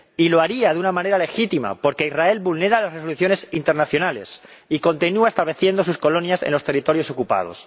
Y lo haría de una manera legítima, porque Israel vulnera las resoluciones internacionales y continúa estableciendo sus colonias en los territorios ocupados.